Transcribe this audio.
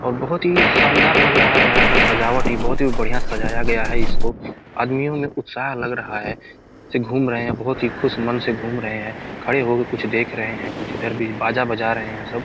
और बहुत ही शानदार लग रहा है यहाँ का सजावट हीं बहुत हीं बढ़िया सजाया गया है इसको आदमियों में उत्साह लग रहा है घूम रहें हैं बहुत ही खुश मन से घूम रहें हैं खड़े होके कुछ देख रहें हैं कुछ इधर भी बाजा बजा रहें हैं सब।